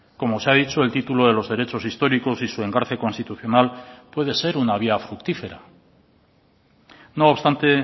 como se ha dicho el título de los derechos históricos y su engarce constitucional puede ser una vía fructífera no obstante